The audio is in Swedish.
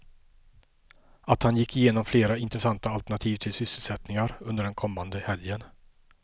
Att han gick igenom flera intressanta alternativ till sysselsättningar under den kommande helgen.